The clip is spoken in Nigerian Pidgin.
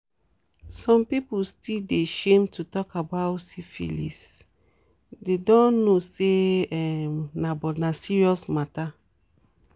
some people still dey shame to talk about syphilisthey don't know say um na but na serious matter